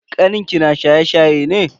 Kanin ki na shaye-shaye ne?